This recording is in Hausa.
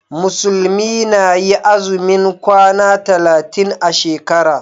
Musulmi na yi azumin kwana talatin a shekara.